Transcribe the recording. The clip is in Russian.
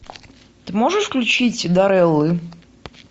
ты можешь включить дарреллы